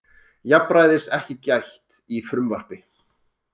Jafnræðis ekki gætt í frumvarpi